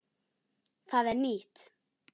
Hvað er nýtt?